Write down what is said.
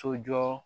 Sojɔ